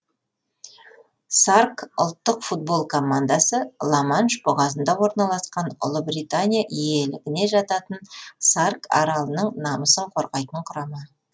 сарк ұлттық футбол командасы ла манш бұғазында орналасқан ұлыбритания иелігіне жататын сарк аралының намысын қорғайтын құрама